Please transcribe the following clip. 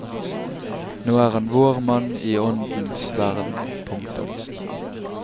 Nå er han vår mann i åndens verden. punktum